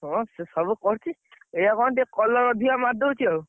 ହଁ ସେ ସବୁ କରୁଚି। ଏୟା କଣ ଟିକେ colour ଅଧିକା ମାରିଦଉଛି ଆଉ।